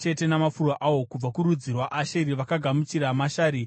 kubva kurudzi rwaAsheri vakagamuchira Mashari, neAbhidhoni,